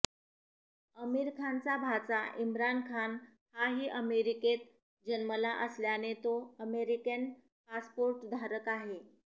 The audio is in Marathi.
आमीरखानचा भाचा इम्रान खान हाही अमेरिकेत जन्मला असल्याने तो अमेरिकेन पासपोर्टधारक आहे